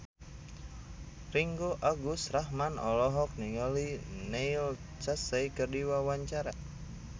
Ringgo Agus Rahman olohok ningali Neil Casey keur diwawancara